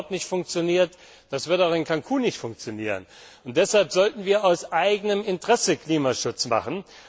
Das hat dort nicht funktioniert, das wird auch in Cancún nicht funktionieren. Deshalb sollten wir aus eigenem Interesse Klimaschutz machen.